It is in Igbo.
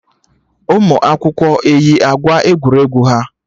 Ụmụ akwụkwọ eyi akwa egwuregwu ha?